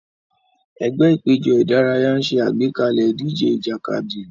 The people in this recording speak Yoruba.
Ẹgbẹ́ ìpéjọ ìdárayá ń ṣe àgbékalẹ̀ ìdíje ìjàkadì.